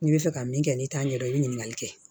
N'i bɛ fɛ ka min kɛ n'i t'a ɲɛdɔn i bɛ ɲininkali kɛ